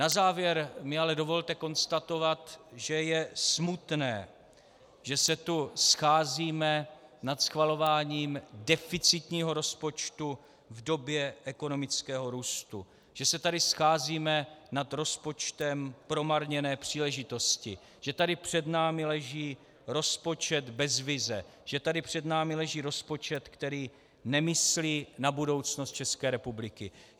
Na závěr mi ale dovolte konstatovat, že je smutné, že se tu scházíme nad schvalováním deficitního rozpočtu v době ekonomického růstu, že se tady scházíme nad rozpočtem promarněné příležitosti, že tady před námi leží rozpočet bez vize, že tady před námi leží rozpočet, který nemyslí na budoucnost České republiky.